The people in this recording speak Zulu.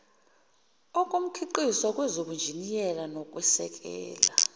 omkhiqizo kwezobunjiniyela nokwesekela